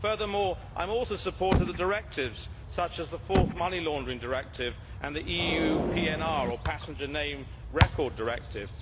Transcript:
Furthermore, I am also a supporter of the directives, such as the Fourth Money Laundering Directive and the EU Passenger Name Record Directive.